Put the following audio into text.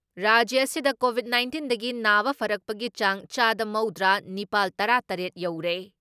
ꯔꯥꯖ꯭ꯌ ꯑꯁꯤꯗ ꯀꯣꯚꯤꯠ ꯅꯥꯏꯟꯇꯤꯟꯗꯒꯤ ꯅꯥꯕ ꯐꯔꯛꯄꯒꯤ ꯆꯥꯡ ꯆꯥꯗ ꯃꯧꯗ꯭ꯔꯥ ꯅꯤꯄꯥꯜ ꯇꯔꯥ ꯇꯔꯦꯠ ꯌꯧꯔꯦ ꯫